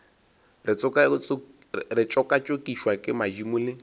re tšokatšokišwa ke madimo le